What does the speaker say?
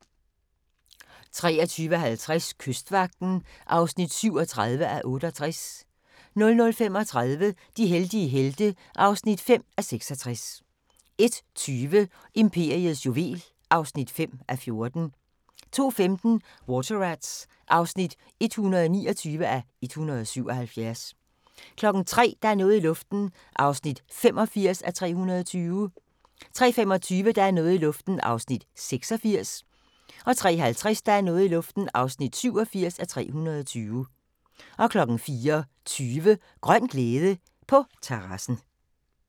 23:50: Kystvagten (37:68) 00:35: De heldige helte (5:66) 01:20: Imperiets juvel (5:14) 02:15: Water Rats (129:177) 03:00: Der er noget i luften (85:320) 03:25: Der er noget i luften (86:320) 03:50: Der er noget i luften (87:320) 04:20: Grøn glæde – på terrassen